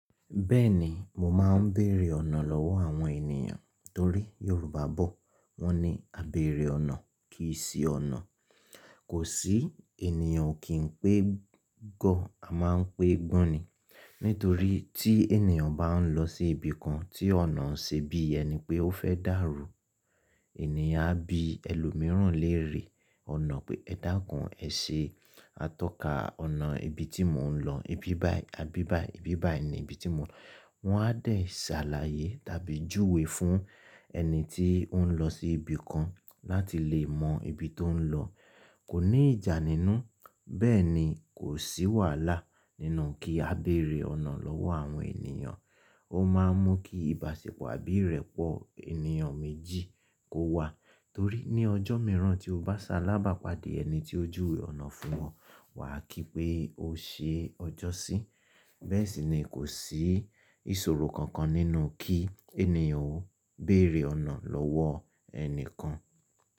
Bẹ́ẹ̀ni mo máa ń bèrè ọ̀nà lọ́wọ́ àwọn ènìyàn torí Yorùbá bọ̀ wọ́n ní "Àbẹ̀rẹ̀ ọ̀nà kì í ṣí ọ̀nà". Kò sí ènìyàn kì ń pé gọ́, a máa ń pé gbọ́n ni. Nítorí tí ènìyàn bá ń lọ sí ibi kan tí ọ̀nà ń ṣe bí i ẹni pé ó fẹ́ dàrú, ènìyàn á bi ẹlòmíràn léèrè ọ̀nà pé ẹ dáńkọ́ ẹ ṣe atọ́ka ọ̀nà ibi tí mò ń lọ, ibi báyìí, ibi báyìí ní ibi tí mò ń lọ. Wọn á dà sàlàyé tàbí júwe fún ẹni tí ó ń lọ sí ibi kan láti lè mọ ibi tó ń lọ. Kò ní ìjà nínú, bẹ́ẹ̀ ni kò sí wàhálà nínú kí a bèrè ọ̀nà lọ́wọ́ àwọn ènìyàn. Ó máa ń mú kí ìbáṣepọ̀ àbí ìrẹ́pọ̀ ènìyàn méjì kó wà torí ní ọjọ́ mìíràn tí o bá sá lábàápadì ẹni tí ó júwe ọ̀nà fún ẹ, wà á kí pé o ṣe ọjọ́ sí. Bẹ́ẹ̀ sì ni kò sí ìṣòro kankan nínú kí ènìyàn ó bèrè ọ̀nà lọ́wọ́ ẹni kan.